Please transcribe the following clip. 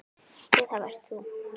Jú, það varst þú.